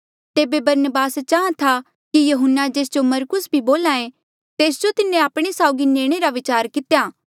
तेबे बरनबास चाहां था कि यहून्ना जेस जो जे मरकुस भी बोल्हा ऐें तेस जो तिन्हें आपणे साउगी नीणे रा विचार कितेया